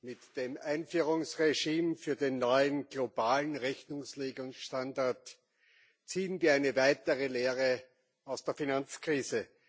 Mit dem Einführungsregime für den neuen globalen Rechnungslegungsstandard ziehen wir eine weitere Lehre aus der Finanzkrise.